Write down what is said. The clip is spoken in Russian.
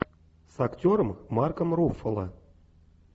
с актером марком руффало